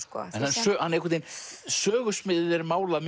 sögusviðið er málað